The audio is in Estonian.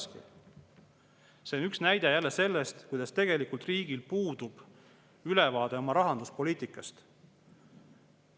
See on jälle üks näide sellest, et tegelikult riigil puudub ülevaade oma rahanduspoliitikast.